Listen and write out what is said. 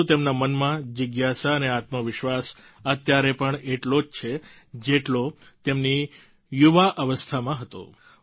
પરંતુ તેમના મનમાં જિજ્ઞાસા અને આત્મવિશ્વાસ અત્યારે પણ એટલો જ છે જેટલો તેમની યુવાવસ્થામાં હતો